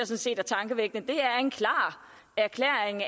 set er tankevækkende det er en klar erklæring